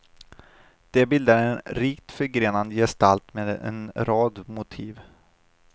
De bildar en rikt förgrenad gestalt med en rad motiv.